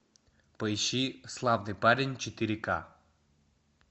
поищи славный парень четыре ка